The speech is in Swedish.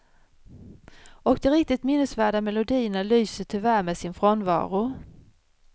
Och de riktigt minnesväda melodierna lyser tyvärr med sin frånvaro.